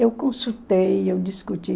Eu consultei, eu discuti.